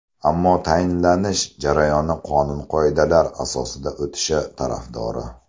Ammo tayinlanish jarayoni qonun-qoidalar asosida o‘tishi tarafdori.